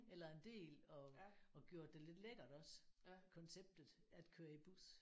Eller en del og og gjort det lidt lækkert også konceptet at køre i bus